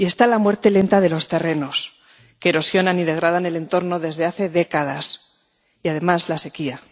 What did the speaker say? Y está la muerte lenta de los terrenos, que erosiona y degrada el entorno desde hace décadas, y, además, la sequía.